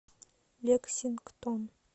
лексингтон